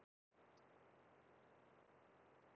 Í rauninni eins og tvíburar.